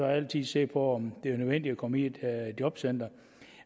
altid se på om det bliver nødvendigt at komme i et jobcenter